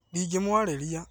Ndĩngĩmwarĩrĩria